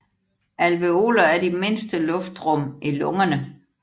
Alveoler er de mindste luftrum i lungerne